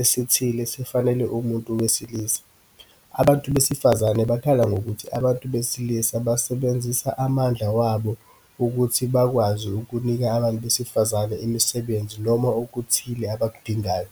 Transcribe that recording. esithile sifanele umuntu wesilisa. Abantu besifazane bakhala ngokuthi abantu besilisa basebenzisa amandla wabo ukuthi bekwazi ukunika abantu besifazane imisebenzi noma okuthile abakudingayo.